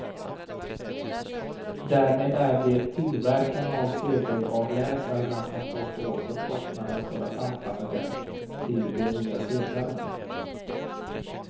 Därmed är det tillverkarna av sedelavläsarna som får stå för kostnaden för att anpassa dem till de nya sedlarna.